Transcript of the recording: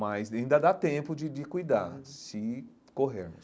Mas ainda dá tempo de de cuidar, se corrermos.